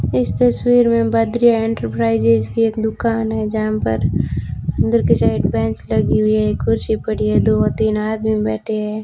इस तस्वीर में बद्री इंटरप्राइजेज की एक दुकान है जहां पर अंदर की साइड बेंच लगी हुई है एक कुर्सी पड़ी है दो तीन आदमी बैठे हैं।